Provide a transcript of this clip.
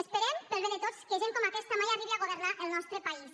esperem pel bé de tots que gent com aquesta mai arribi a governar el nostre país